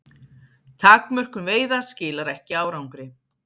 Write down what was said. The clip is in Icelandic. Takmörkun veiða skilar ekki árangri